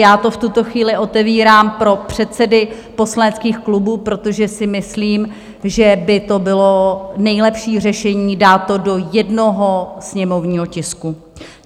Já to v tuto chvíli otevírám pro předsedy poslaneckých klubů, protože si myslím, že by to bylo nejlepší řešení, dát to do jednoho sněmovního tisku.